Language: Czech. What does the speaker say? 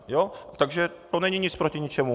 Takže to není nic proti ničemu.